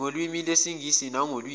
ngolwimi lwesingisi nangolwimi